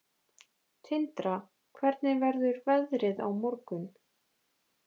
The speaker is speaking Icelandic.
Tindra, hvernig verður veðrið á morgun?